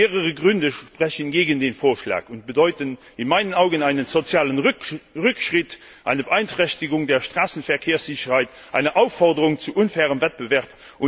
Mehrere Gründe sprechen gegen den Vorschlag und bedeuten in meinen Augen einen sozialen Rückschritt, eine Beeinträchtigung der Straßenverkehrssicherheit, eine Aufforderung zu unfairem Wettbewerb.